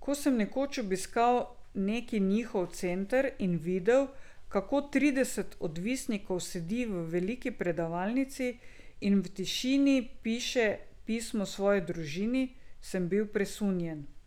Ko sem nekoč obiskal neki njihov center in videl, kako trideset odvisnikov sedi v veliki predavalnici in v tišini piše pismo svoji družini, sem bil presunjen.